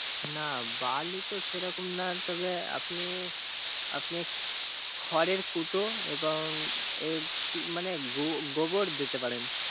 না বালি তো সেরকম না আপনি- আপনি খরের কুটো এবং গোবর দিতে পারেন।